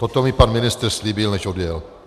Toto mi pan ministr slíbil, než odjel.